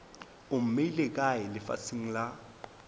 o mmeile kae lefaseng la